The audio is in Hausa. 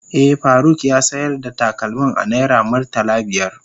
Eh, Faruk ya sayar da takalmin a naira murtala biyar.